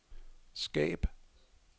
skab